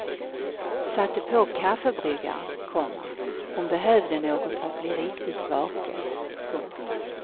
Satte på kaffebryggaren, komma hon behövde något för att bli riktigt vaken. punkt